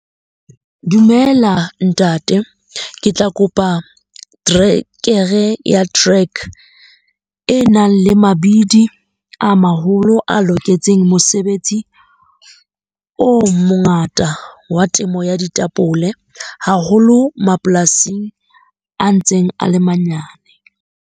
Dumela ntate. Ke tla kopa terekere ya track, e nang le mabidi a maholo a loketseng mosebetsi o mongata wa temo ya ditapole. Haholo mapolasing a ntseng a le manyane.